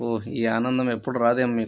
ఓ ఈ ఆనందం ఎప్పుడు రాదేమో మీకు --